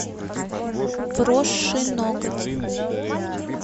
вросший ноготь